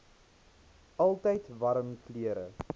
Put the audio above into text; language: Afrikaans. altyd warm klere